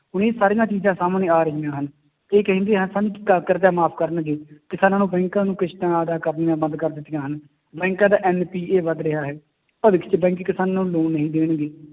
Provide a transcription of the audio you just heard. ਸੋ ਇਹ ਸਾਰੀਆਂ ਚੀਜ਼ਾਂ ਸਾਹਮਣੇ ਆ ਰਹੀਆਂ ਹਨ, ਇਹ ਕਹਿੰਦੇ ਹਾਂ ਸਨ ਕਿ ਕ ਕਰਜ਼ਾ ਮਾਫ਼ ਕਰਨਗੇ, ਕਿਸਾਨਾਂ ਨੂੰ ਬੈਕਾਂ ਨੂੰ ਕਿਸ਼ਤਾਂ ਅਦਾ ਕਰਨੀਆਂ ਬੰਦ ਕਰ ਦਿੱਤੀਆਂ ਹਨ, ਬੈਕਾਂ ਦਾ NPA ਵੱਧ ਰਿਹਾ ਹੈ ਕਿਸਾਨਾਂ ਨੂੰ loan ਨਹੀਂ ਦੇਣਗੇ।